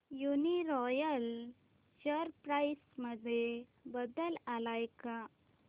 Uniroyal share price मध्ये बदल आलाय का